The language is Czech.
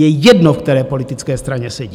Je jedno, v které politické straně sedí.